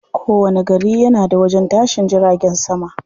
Kowani gari yana da wajen tashin jiragen sama.